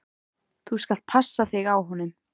Þú skalt passa þig á honum!